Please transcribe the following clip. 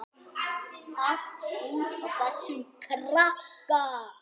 Allt út af þessum krakka.